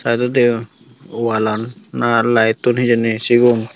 eyot do degong woalan na lite tun hijeni sigun.